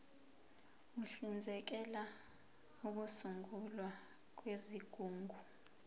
uhlinzekela ukusungulwa kwezigungu